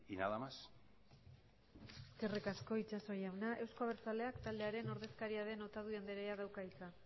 nada más eskerrik asko itxaso jauna euzko abertzaleak taldearen ordezkaria den otadui andrea dauka hitza